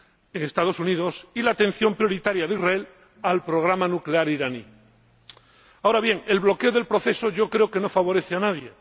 en los Estados Unidos―, y por la atención prioritaria de Israel al programa nuclear iraní. Ahora bien, el bloqueo del proceso yo creo que no favorece a nadie.